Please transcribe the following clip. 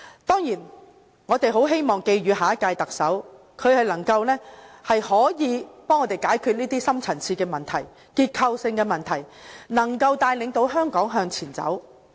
當然，我們很希望寄語下屆特首能幫助大家解決這些深層次、結構性的問題，能夠帶領香港向前走。